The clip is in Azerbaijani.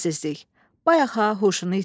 Bayaq ha huşunu itirdi.